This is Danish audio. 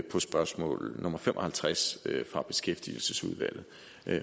på spørgsmål nummer fem og halvtreds fra beskæftigelsesudvalget